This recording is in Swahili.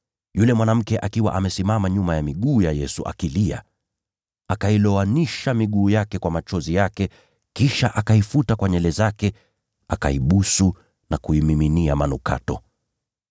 Yule mwanamke akasimama nyuma ya miguu ya Yesu akilia. Akailowanisha miguu yake kwa machozi yake, kisha akaifuta kwa nywele zake, akaibusu na kuimiminia manukato.